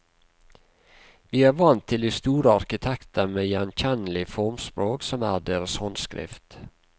Vi er vant til de store arkitekter med gjenkjennelig formspråk som er deres håndskrift.